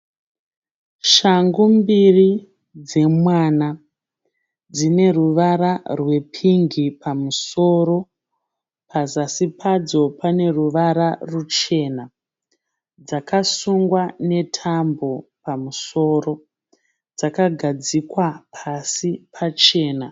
Shangu mbiri dzemwana. Dzine ruvara rwepingi pamusoro. Pazasi padzo pane ruvara ruchena. Dzakasungwa netambo pamusoro dzakagadzikwa pasi pachena.